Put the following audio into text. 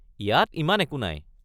ইয়াত ইমান একো নাই।